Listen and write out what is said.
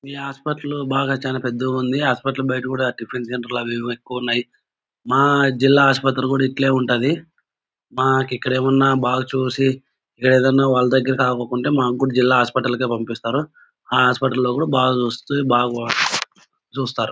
ఈ హాస్పిటల్ బాగా చానా పెద్దగా ఉంది. హాస్పిటల్ బయట కూడా టిఫిన్ సెంటర్ లు అవి ఇవి ఎక్కువ ఉన్నాయ్. మా జిల్లా ఆసుపత్రి కూడా ఇట్లే ఉంటాది. మాకు ఇక్కడ ఏమైనా బాగ్ చూసి వాళ్ల దగ్గర అవ్వకుంటే మాకు కూడా జిల్లా హాస్పిటల్ కే పంపిస్తారు. ఆ హాస్పిటల్ లో కూడా బాగా చూసి బా చూస్తారు.